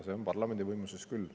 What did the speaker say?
See on parlamendi võimuses küll.